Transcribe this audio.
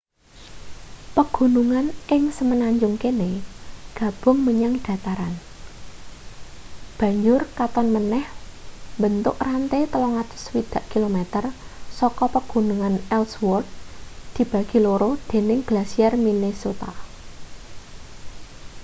pegunungan ing semenanjung kene gabung menyang dataran banjur katon maneh mbentuk rante 360 km saka pegunungan ellsworth dibagi loro dening glasier minnesota